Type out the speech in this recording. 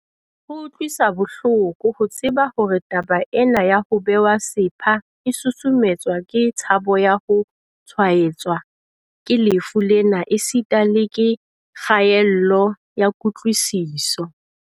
Ho utlwisa bohloko ho tseba hore taba ena ya ho bewa sepha e susumetswa ke tshabo ya ho tshwaetswa ke lefu lena esita le ke kgaello ya kutlwisiso.